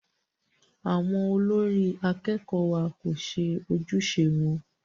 Àwọn olórí akẹ́kọ̀ọ́ wa kò ṣe ojúṣe wọn.